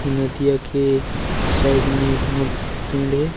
नदिया के साइड में बहुत पेड़ हे ।